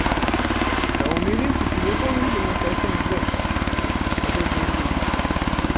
да у мелиссы телефон видимо совсем сдох какой каратель